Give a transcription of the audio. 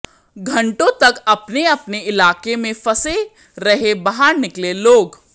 घंटों तक अपने अपने इलाके में फंसे रहे बाहर निकले लोग